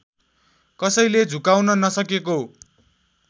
कसैले झुकाउन नसकेको